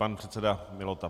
Pan předseda Mihola.